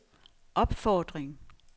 opfordring